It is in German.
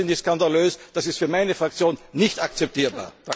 Das finde ich skandalös, das ist für meine Fraktion nicht akzeptabel.